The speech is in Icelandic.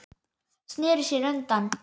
Sneri sér undan.